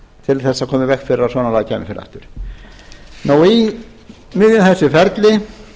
í veg fyrir að svona lagað kæmi fyrir aftur í miðju þessu ferli